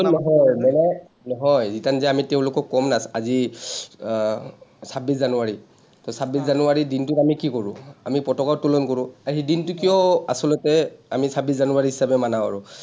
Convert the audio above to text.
সাতজন নহয়, মানে, নহয়, return যে আমি তেওঁলোকক ক’ম না আজি আহ ছাব্বিছ জানুৱাৰী, ছাব্বিছ জানুৱাৰীৰ দিনটো মানে কি কৰোঁ, আমি পতাকা উত্তোলন কৰোঁ, দিনটো কিয় আচলতে আমি ছাব্বিছ জানুৱাৰী হিচাপে মানা কৰোঁ?